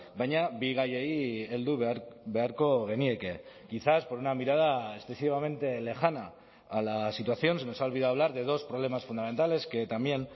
baina bi gaiei heldu beharko genieke quizás por una mirada excesivamente lejana a la situación se nos ha olvidado hablar de dos problemas fundamentales que también